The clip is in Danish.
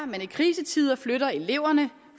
man i krisetider flytter eleverne